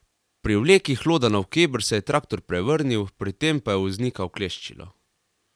Pri vleki hloda navkreber se je traktor prevrnil, pri tem pa je voznika ukleščilo.